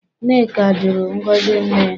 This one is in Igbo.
Nneka jụrụ ngozi nne ya.